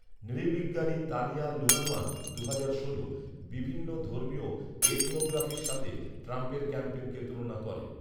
নৃবিজ্ঞানী Tanya Luhrmann দু'হাজার ষোলো বিভিন্ন ধর্মীয় এথনোগ্রাফির সাথে ট্রাম্পের ক্যাম্পেনকে তুলনা করেন।